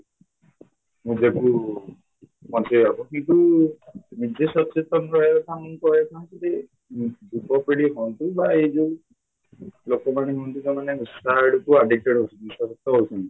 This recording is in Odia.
ନିଜକୁ ବଞ୍ଚେଇବାକୁ କିନ୍ତୁ ନିଜେ ସଚେତନ ରହିବାକୁ ଚାହୁଁଛନ୍ତି ଯୁବପିଢ଼ି ହୁଅନ୍ତୁ ବା ଏଇ ଯୋଉ ଲୋକମାନେ ହୁଅନ୍ତୁ ସେମାନେ ନିଶା ଆଡକୁ addicted ହଉଛନ୍ତି ନିଶାଗ୍ରସ୍ତ ହଉଛନ୍ତି